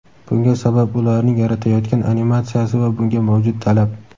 Bunga sabab ularning yaratayotgan animatsiyasi va bunga mavjud talab.